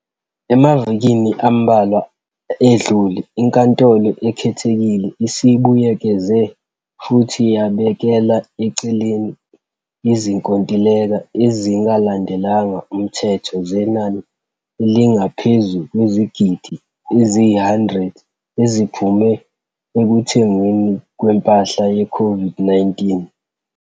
Emavikini ambalwa edlule, iNkantolo Ekhethekile isibuyekeze futhi yabekela eceleni izinkontileka ezingalandelanga umthetho zenani elingaphezu kwezigidi eziyi-R100 eziphume ekuthengweni kwempahla yeCOVID-19.